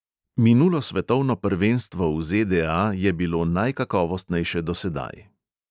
Minulo svetovno prvenstvo v ZDA je bilo najkakovostnejše dosedaj.